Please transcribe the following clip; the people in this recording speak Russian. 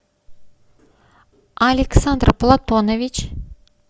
александр платонович